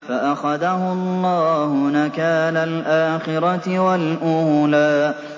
فَأَخَذَهُ اللَّهُ نَكَالَ الْآخِرَةِ وَالْأُولَىٰ